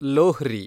Lohri